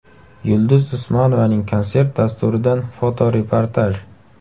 Yulduz Usmonovaning konsert dasturidan fotoreportaj.